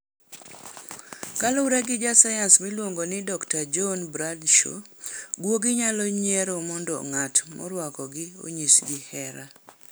Kaluwore gi jasayans miluongo ni Dr. John Bradshaw, guogi nyalo nyiero mondo ng'at morwakogi onyisgi hera.